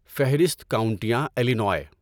فہرست کاؤنٹیاں الینوائے